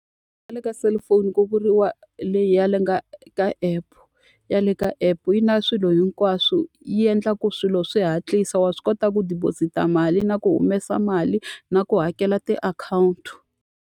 Le ka cellphone ku vuriwa leyi ya le le ka app. Ya le ka app yi na swilo hinkwaswo yi endla ku swilo swi hatlisa wa swi kota ku deposit-a mali na ku humesa mali, na ku hakela tiakhawunti.